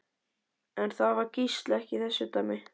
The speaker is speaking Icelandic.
En það var Gísli ekki í þessu dæmi.